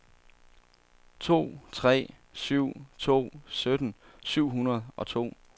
to tre syv to sytten syv hundrede og to